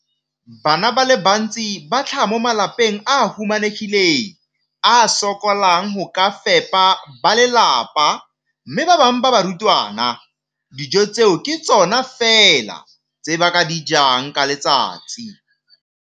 Bana ba le bantsi ba tlhaga mo malapeng a a humanegileng a a sokolang go ka fepa ba lelapa mme ba bangwe ba barutwana, dijo tseo ke tsona fela tse ba di jang ka letsatsi.